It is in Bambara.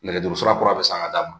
Nɛgɛjuru sira kura bɛ san a d'a ma